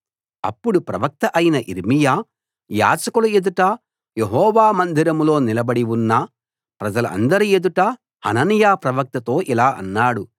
అప్పుడు ప్రవక్త అయిన యిర్మీయా యాజకుల ఎదుట యెహోవా మందిరంలో నిలబడి ఉన్న ప్రజలందరి ఎదుట హనన్యా ప్రవక్తతో ఇలా అన్నాడు